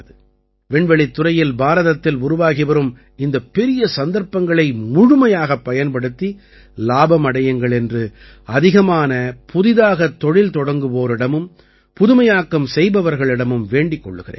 விண்வெளித்துறையில் பாரதத்தில் உருவாகி வரும் இந்தப் பெரிய சந்தர்ப்பங்களை முழுமையாகப் பயன்படுத்தி லாபம் அடையுங்கள் என்று அதிகமான புதிதாகத் தொழில் தொடங்குவோரிடமும் புதுமையாக்கம் செய்பவர்களிடமும் வேண்டிக் கொள்கிறேன்